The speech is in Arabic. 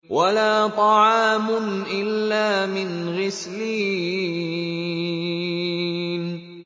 وَلَا طَعَامٌ إِلَّا مِنْ غِسْلِينٍ